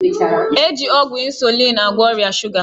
E ji ọgwụ 'insulin' agwọ ọrịa shuga